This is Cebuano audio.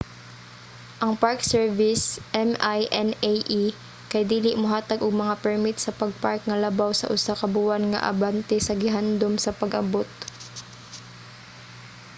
ang park service minae kay dili mohatag og mga permit sa pag-park nga labaw sa usa ka buwan nga abante sa gihandom nga pag-abot